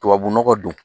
Tubabu nɔgɔ don